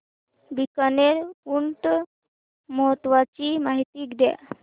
बीकानेर ऊंट महोत्सवाची माहिती द्या